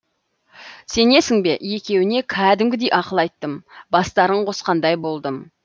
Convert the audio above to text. сенесің бе екеуіне кәдімгідей ақыл айттым бастарын қосқандай болдым